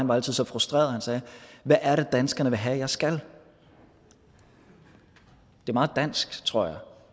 var så så frustreret og han sagde hvad er det danskerne vil have jeg skal det er meget dansk tror jeg